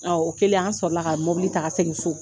Ɔ o kɛlen an sɔrɔ la ka mobili ta ka segin so